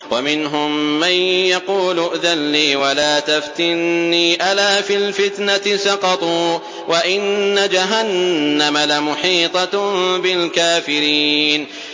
وَمِنْهُم مَّن يَقُولُ ائْذَن لِّي وَلَا تَفْتِنِّي ۚ أَلَا فِي الْفِتْنَةِ سَقَطُوا ۗ وَإِنَّ جَهَنَّمَ لَمُحِيطَةٌ بِالْكَافِرِينَ